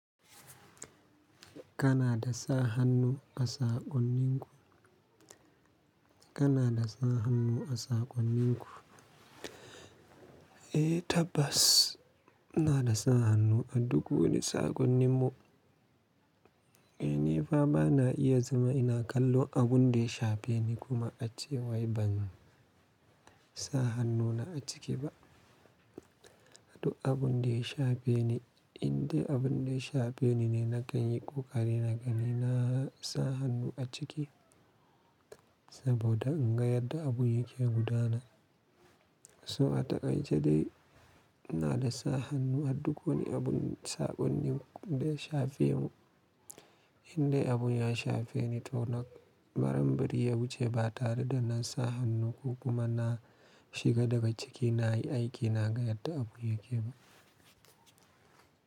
Kana da sa hannu a saƙonninku? Kana da sa hannu a saƙonninku? Eh tabbas, na da sa hannu a duk wani saƙonninmu. Eh ni fa ba na iya zama ina kallo abun da ya shafe ni kuma ace wai ban sa hannuna a ciki ba. Abun da ya shafe ni, in dai abun da ya shafe ni ne na kan yi ƙoƙari na gani na sa hannu a ciki. Saboda in ga yadda abun yake gudana. So a takaice dai na da sa hannu a duk wani abun saƙonin da ya shafe mu. In dai abun ya shafe ni to nan, maran bari ya wuce ba tare da na sa hannu ko kuma na shiga daga ciki na yi aiki na ga yadda abun yake ba.